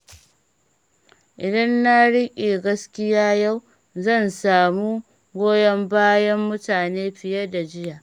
Idan na riƙe gaskiya yau, zan samu goyon bayan mutane fiye da jiya.